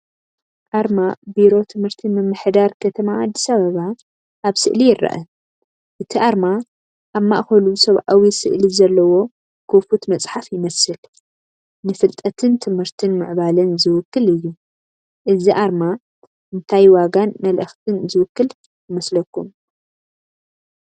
ኣርማ ቢሮ ትምህርቲ ምምሕዳር ከተማ ኣዲስ ኣበባ ኣብ ስእሊ ይርአ። እቲ ኣርማ ኣብ ማእከሉ ሰብኣዊ ስእሊ ዘለዎ ክፉት መጽሓፍ ይመስል፣ ንፍልጠትን ትምህርትን ምዕባለን ዝውክል እዩ። እዚ ኣርማ እንታይ ዋጋን መልእኽትን ዝውክል ይመስለኩም?